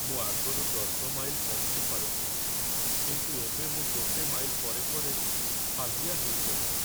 ମୁଁ ଆଗରୁ ୧୦ ମାଇଲ ପହଁରି ପାରୁଥିଲି, କିନ୍ତୁ ଏବେ ମୁଁ ଗୋଟେ ମାଇଲ ପରେ ପରେ ହାଲିଆ ହେଇଯାଉଚି ।